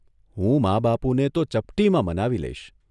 હું મા બાપુને તો ચપટીમાં મનાવી લઇશ.